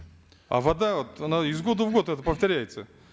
а вода вот она из года в год это повторяется